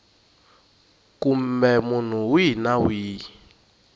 kumbe munhu wihi na wihi